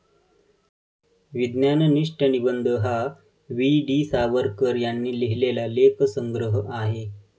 विज्ञाननिष्ठ निबंध हा वी.डी. सावरकर यांनी लिहिलेला लेखसंग्रह आहे.